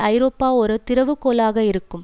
ஐரோப்பா ஒரு திறவு கோலாக இருக்கும்